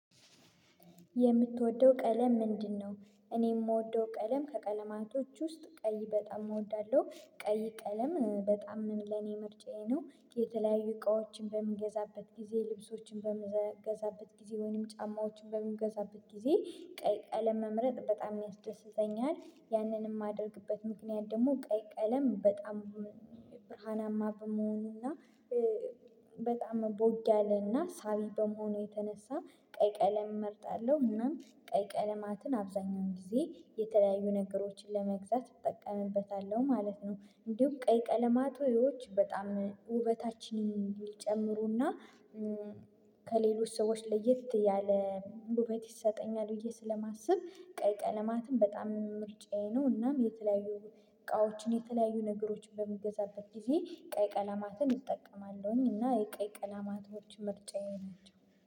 የምትወደው ቀለም ምንድነው? እኔ የምወደው ቀለም ከቀለማቾች ውስጥ ቀይ በጣም እወዳለሁ። ቀይ ቀለም በጣም ለኔ ምርጫዬ ነው የተለያዩ እቃዎችን በምገዛበት ጊዜ ልብሶችን በምገዛበት ጊዜ ወይም ጫማዎችን በምገዛበት ጊዜ ቀለም መምረጥ በጣም ያስደስተኛል። ያንንም የማደርግበት ምክንያት ደግሞ ቀለም በጣም ብርሃናማ በመሆኑና በጣም ቦግ ያለና ሳቢ በመሆኑ የተነሳ ቀይ ቀለም እመርጣለሁ እናም ቀይ ቀለማትን አብዛኛውን ጊዜ የተለያዩ ነገሮችን ለመግዛት እጠቀምበታለሁ ማለት ነው እንዲሁ ቀይ ቀለማቶች በጣም ውበታችን የሚጨምሩና ከሌሎች ሰዎች ለየት ያለ ውበት ይሰጠኛል ብዬ ስለማስብ ቀይ ቀለማትን በጣም ምርጫዬ ነው እናም የተለያዩ እቃዎችን፣ የተለያዩ ነገሮችን በሚገዛበት ጊዜ ቀይ ቀለማትን እጠቀማለሁኝ እና የቀይ ቀለማቶች ምርጫዬ ናቸው።